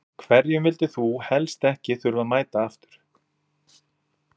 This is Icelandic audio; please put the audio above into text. Hverjum vildir þú helst ekki þurfa að mæta aftur?